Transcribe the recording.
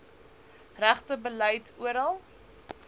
regte beleid oral